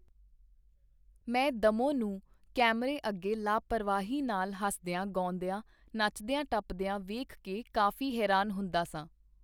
ਮੈਂ ਦੱਮੋ ਨੂੰ ਕੈਮਰੇ ਅੱਗੇ ਲਾਪਰਵਾਹੀ ਨਾਲ ਹੱਸਦੀਆਂ, ਗਾਉਂਦੀਆਂ, ਨੱਚਦੀਆਂ, ਟੱਪਦੀਆਂ ਵੇਖ ਕੇ ਕਾਫੀ ਹੈਰਾਨ ਹੁੰਦਾ ਸਾਂ.